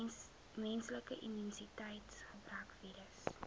menslike immuniteitsgebrekvirus